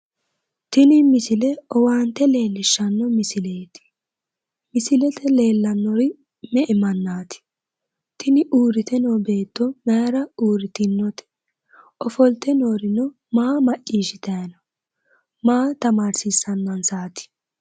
Tini misile owaante leellishshanno misileeti misilete leellannori me"e mannaati? tini uurrite noo beetoo mayiira uurritinote? ofolte noorino maa maccishitayi no? maa tamaarsiissannansaati?